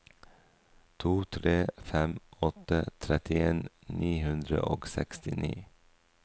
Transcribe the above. to tre fem åtte trettien ni hundre og sekstini